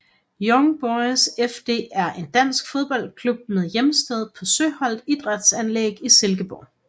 Young Boys FD er en dansk fodboldklub med hjemsted på Søholt Idrætsanlæg i Silkeborg